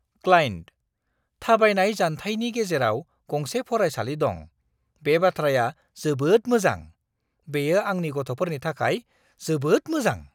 Client "थाबायनाय जानथायनि गेजेराव गंसे फरायसालि दं, बे बाथ्राया जोबोद मोजां। बेयो आंनि गथ'फोरनि थाखाय जोबोद मोजां!"